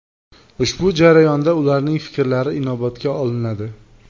Ushbu jarayonda ularning fikrlari inobatga olinadi.